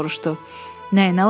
Nəyinə lazımdır?